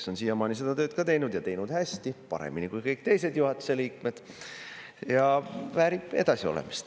Ta on siiamaani seda tööd teinud ja teinud hästi, paremini kui kõik teised juhatuse liikmed, ja väärib edasiolemist.